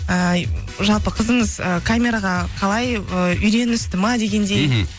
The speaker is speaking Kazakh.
ііі жалпы қызыңыз і камераға қалай ы үйреністі ме дегендей мхм